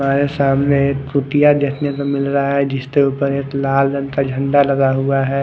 हमारे समाने एक कुटिया देखने को मिल रहा है जिसके उपर एक लाल रंग का झंडा लगा हुआ है।